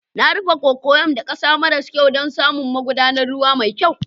Na rufe cocoyam da ƙasa maras kyau don samar da magudanar ruwa mai kyau.